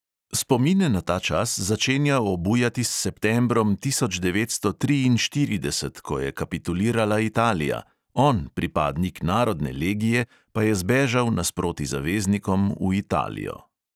Spomine na ta čas začenja obujati s septembrom tisoč devetsto triinštirideset, ko je kapitulirala italija, on, pripadnik narodne legije, pa je zbežal nasproti zaveznikom v italijo ...